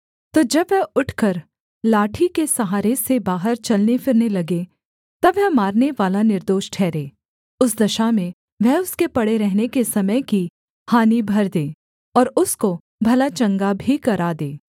तो जब वह उठकर लाठी के सहारे से बाहर चलने फिरने लगे तब वह मारनेवाला निर्दोष ठहरे उस दशा में वह उसके पड़े रहने के समय की हानि भर दे और उसको भला चंगा भी करा दे